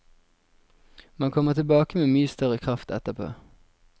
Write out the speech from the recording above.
Man kommer tilbake med mye større kraft etterpå.